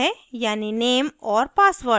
यानी name और password